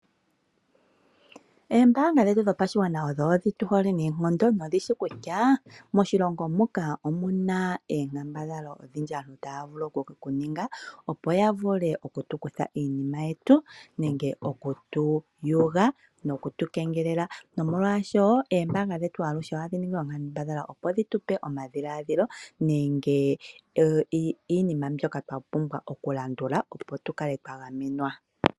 Oombanga dhetu dhopashigwana odhi tu hole unene noonkondo dho odhishi kutya moshilongo shetu omuna oonkambadhala odhindji ndhoka aantu taavulu oku ninga opo yavule okutu kutha iinima yetu nenge okutu yuga nokutukegelela . Oombanga ohadhi ningi oonkambadhala dhitupe omadhiladhilo nenge omilandu ndhoka twapumbwa okulandula opo tukale twa gamenwa.